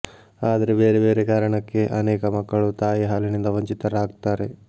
ಆದ್ರೆ ಬೇರೆ ಬೇರೆ ಕಾರಣಕ್ಕೆ ಅನೇಕ ಮಕ್ಕಳು ತಾಯಿ ಹಾಲಿನಿಂದ ವಂಚಿತರಾಗ್ತಾರೆ